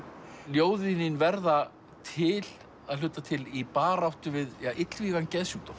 ljóðið þín verða til að hluta til í baráttu við illvígan geðsjúkdóm